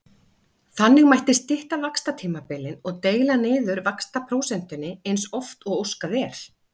Þannig mætti stytta vaxtatímabilin og deila niður vaxtaprósentunni eins oft og óskað er.